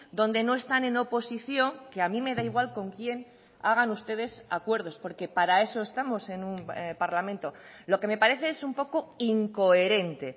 donde no están en oposición que a mí me da igual con quien hagan ustedes acuerdos porque para eso estamos en un parlamento lo que me parece es un poco incoherente